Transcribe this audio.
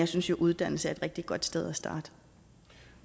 synes jo at uddannelse er et rigtig godt sted